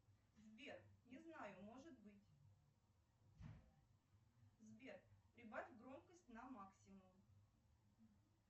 сбер не знаю может быть сбер прибавь громкость на максимум